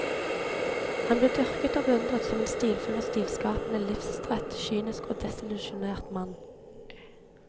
Han ble dyrket og beundret som en stilfull og stilskapende, livstrett, kynisk og desillusjonert mann.